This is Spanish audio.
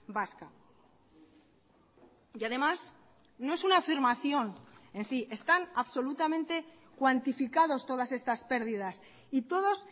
vasca y además no es una afirmación en sí están absolutamente cuantificados todas estas pérdidas y todos